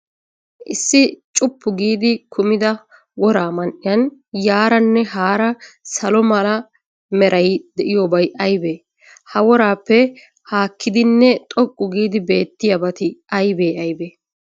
Issi cuppu giidi kumida woraa man''iyan yaaraanne haara salo mala meray de'iyoobay aybee? Ha woraapee haakkidinne xoqqu giidi beettiyabati aybee aybee?